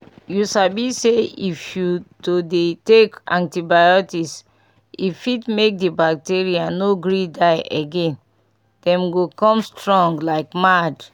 you sabi say if you to dey take antibiotics e fit make the bacteria no gree die again them go come strong like mad